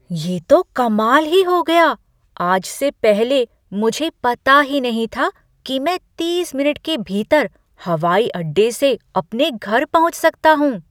ये तो कमाल ही हो गया! आज से पहले मुझे पता ही नहीं था कि मैं तीस मिनट के भीतर हवाई अड्डे से अपने घर पहुँच सकता हूँ!